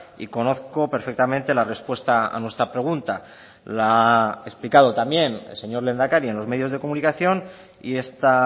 y conozco perfectamente la respuesta a nuestra pregunta la ha explicado también el señor lehendakari en los medios de comunicación y esta